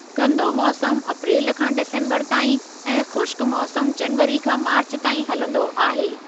गंदो मौसमु अप्रेलु खां डिसम्बरु ताईं ऐं ख़ुश्क मौसमु जनवरी खां मार्चु ताईं हलंदो आहे।